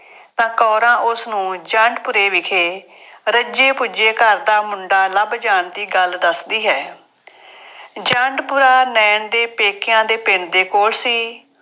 ਤਾਂ ਕੌਰਾਂ ਉਸਨੂੰ ਜੰਡਪੁਰੇ ਵਿਖੇ ਰੱਜੇ ਪੁੱਜੇ ਘਰ ਦਾ ਮੁੰਡਾ ਲੱਭ ਜਾਣ ਦੀ ਗੱਲ ਦੱਸਦੀ ਹੈ। ਜੰਡਪੁਰਾ ਨਾਇਣ ਦੇ ਪੇਕਿਆਂ ਦੇ ਪਿੰਡ ਦੇ ਕੋਲ ਸੀ।